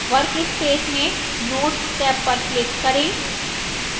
workspace में notes tab पर click करें